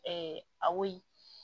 a woyo